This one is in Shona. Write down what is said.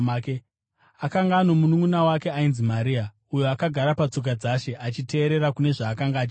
Akanga ano mununʼuna wake ainzi Maria, uyo akagara patsoka dzaShe achiteerera kune zvaakanga achitaura.